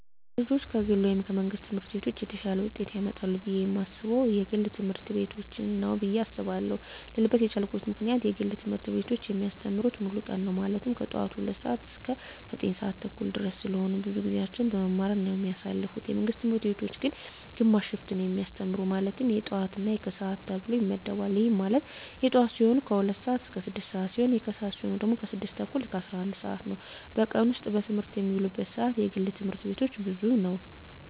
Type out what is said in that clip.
ልጆች ከግል ወይም ከመንግሥት ትምህርት ቤቶች የተሻለ ውጤት ያመጣሉ ብየ የማስበው የግል ትምህርት ቤቶችን ነው ብየ አስባለው ልልበት የቻልኩት ምክንያት የግል ትምህርት ቤቶች የሚያስተምሩት ሙሉ ቀን ነው ማለትም ከጠዋቱ 2:00 ሰዓት እስከ 9:30 ድረስ ስለሆነ ብዙውን ጊዜያቸውን በመማማር ነው የሚያሳልፉት የመንግስት ትምህርት ቤቶች ግን ግማሽ ሽፍት ነው የሚያስተምሩ ማለትም የጠዋት እና የከሰዓት ተብሎ ይመደባል ይህም ማለት የጠዋት ሲሆኑ 2:00 ስዓት እስከ 6:00 ሲሆን የከሰዓት ሲሆኑ ደግሞ 6:30 እስከ 11:00 ነው በቀን ውስጥ በትምህርት የሚውሉበት ሰዓት የግል ትምህርት ቤቶች ብዙ ነው።